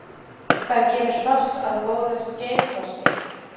Hvað gerir hross að góðu skeiðhrossi?